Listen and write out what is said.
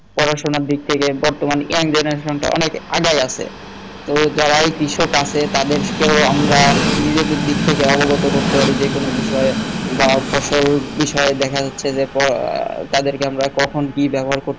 পড়া শোনার দিক থেকে বর্তমান young generation টা অনেক আগাই আছে তো যারা এই কৃষক আছে তাদের কে আমারা নিজেদের দিক থেকে অবগত করতে পারি যে কোন বিষয়ে বা ফসল বিষয়ে দেখা যাচ্ছে যে তাদের কে আমরা কখন কি ব্যবহার করতে